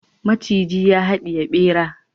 maciji ya hadiye bera